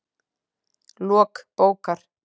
Lok bókar